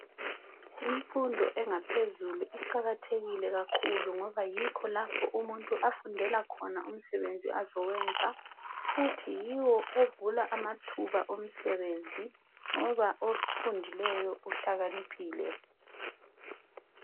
Imfundo engaphezulu iqakathekile kakhulu ngoba yikho lapho umuntu afundela khona umsebenzi azowenza futhi yiwo ovula amathuba omsebenzi ngoba ofundileyo uhlaniphile.